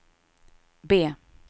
B